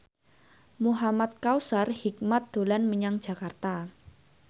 Muhamad Kautsar Hikmat dolan menyang Jakarta